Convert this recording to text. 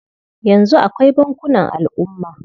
Yanzu akwai bankunan al'umma.